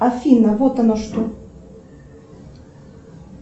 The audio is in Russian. афина вот оно что